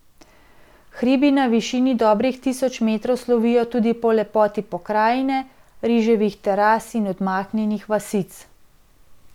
Hribi na višini dobrih tisoč metrov slovijo tudi po lepoti pokrajine, riževih teras in odmaknjenih vasic.